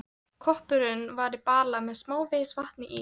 Kópurinn var í bala með smávegis vatni í.